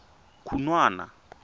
khunwana